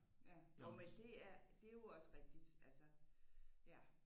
Ja jo men det er det er jo også rigtigt altså ja